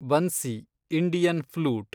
bansi, Indian flute